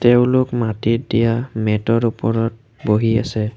তেওঁলোক মাটিত দিয়া মেটৰ ওপৰত বহি আছে।